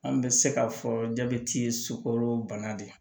An bɛ se k'a fɔ jabɛti ye sukoro bana de ye